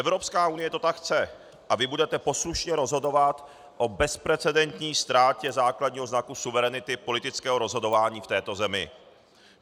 Evropská unie to tak chce a vy budete poslušně rozhodovat o bezprecedentní ztrátě základního znaku suverenity politického rozhodování v této zemi.